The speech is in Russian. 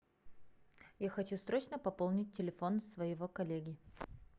я хочу срочно пополнить телефон своего коллеги